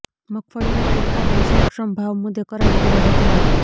મગફળીના પુરતા પોષણક્ષમ ભાવ મુદ્દે કરાઇ ઉગ્ર રજૂઆત